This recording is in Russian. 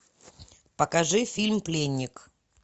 покажи фильм пленник